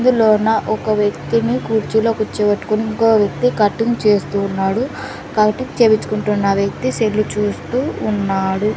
ఇందులోన ఒక వ్యక్తిని కుర్చీలో కూర్చోబెట్టుకొని ఇంకో వ్యక్తి కటింగ్ చేస్తూ ఉన్నాడు కటింగ్ చేపించుకుంటున్న వ్యక్తి సెల్ చూస్తూ ఉన్నాడు.